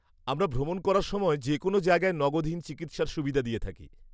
আমরা ভ্রমণ করার সময় যেকোনও জায়গায় নগদহীন চিকিৎসার সুবিধে দিয়ে থাকি।